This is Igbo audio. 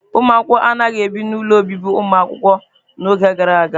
Ụmụ akwụkwọ anaghị ebi n'ụlọ obibi ụmụakwụkwọ n'oge gara aga.